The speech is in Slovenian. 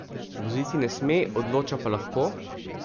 Voziti ne sme, odloča pa lahko?